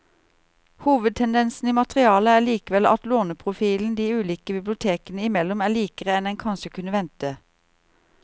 Hovedtendensen i materialet er likevel at låneprofilen de ulike bibliotekene imellom er likere enn en kanskje kunne vente.